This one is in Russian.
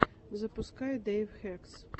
запускай дэйв хэкс